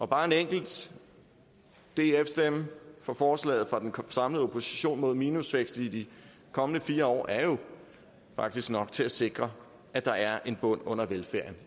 bare en enkelt df stemme for forslaget fra den samlede opposition mod minusvækst i de kommende fire år er jo faktisk nok til at sikre at der er en bund under velfærden